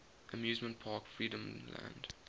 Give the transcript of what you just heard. amusement park freedomland